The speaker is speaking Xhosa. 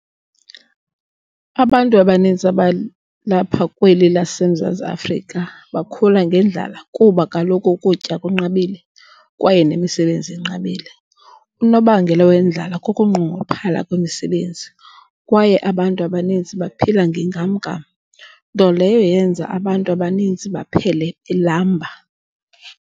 Abantu abaninzi abalapha kweli lase Mzantsi Afrika bakhula ngendlala kuba kaloku ukutya kunqabile, kwaye nemisebenzi inqabile. Unobangela wendlala kukunqongophala kwemi sebenzi kwaye abantu abaninzi baphila nge nkam-nkam nto leyo yenza abantu abaninzi baphele belamba.